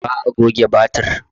Ba'a goge batik.